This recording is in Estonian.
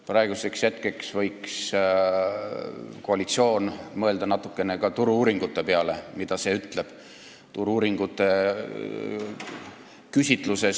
Praegusel hetkel võiks koalitsioon natukene mõelda ka selle peale, mida ütleb Turu-uuringute AS-i küsitlus.